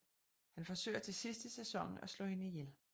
Han forsøger til sidst i sæsonen at slå hende ihjel